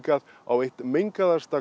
á einu mengaðasta